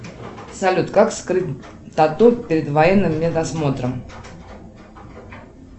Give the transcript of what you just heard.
салют как скрыть тату перед военным медосмотром